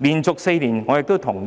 僱員因而也能夠得到保障。